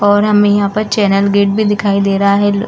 और हमें यहाँ पे चैनल गेट भी दिखाई दे रहा है।